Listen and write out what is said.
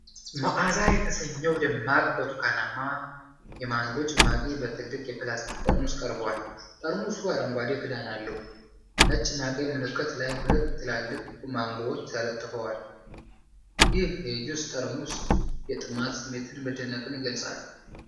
ማዓዛ የተሰኘው ደማቅ ብርቱካንማ የማንጎ ጭማቂ በትልቅ የፕላስቲክ ጠርሙስ ቀርቧል። ጠርሙሱ አረንጓዴ ክዳን አለው። ነጭና ቀይ ምልክት ላይ ሁለት ትላልቅ ማንጎዎች ተለጥፈዋል። ይህ የጁስ ጠርሙስ የጥማት ስሜትንና መደነቅን ይገልጻል።